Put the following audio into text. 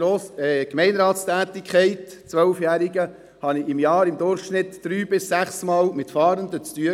Ich habe während meiner zwölfjährigen Tätigkeit im Gemeinderat durchschnittlich drei- bis sechsmal mit Fahrenden zu tun gehabt.